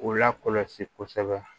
U lakɔlɔsi kosɛbɛ